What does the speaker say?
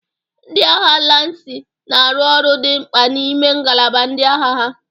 Ndị agha lansi na-arụ ọrụ dị mkpa n'ime ngalaba ndị agha ha.